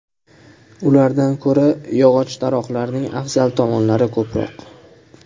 Ulardan ko‘ra yog‘och taroqlarning afzal tomonlari ko‘proq.